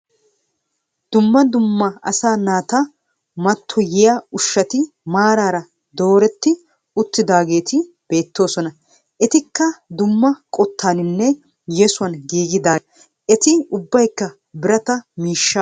Duummaa duummaa asaa naata mattoyyiyaa ushshati maararaa doreti uttidageeti beettosona. Eetikka duummaa qoottanninnee yeesuwan giggidageetaa. Eeti ubbaykka biraataa miishshaa bollan doreti uttidosona.